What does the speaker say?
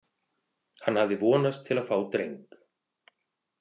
Hann hafði vonast til að fá dreng.